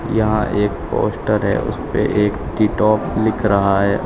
यहां एक पोस्टर है उसपे एक टीटो लिख रहा है।